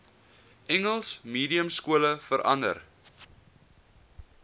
engels mediumskole verander